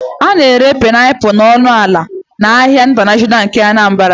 A na-ere painiapulu ọnụ ala n'ahịa ịntanashọnal nke Anambra